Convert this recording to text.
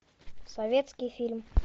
советский фильм